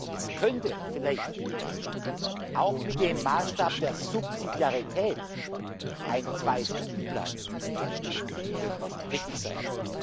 Es könnte vielleicht auch mit dem Maßstab der Subsidiarität ein Zwei Stufen Plan richtig